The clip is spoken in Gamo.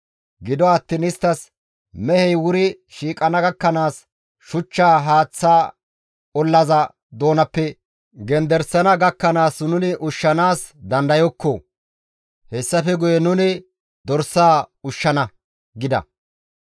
Gido attiin isttas, «Mehey wuri shiiqana gakkanaas, shuchchaa haaththa ollaza doonappe genderisana gakkanaas nuni ushshanaas dandayokko; hessafe guye nuni mehaa ushshana» gida.